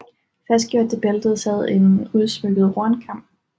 Fastgjort til bæltet sad en udsmykket hornkam